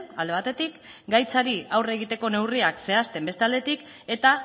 alde batetik gaitzari aurre egiteko neurriak zehazten beste aldetik eta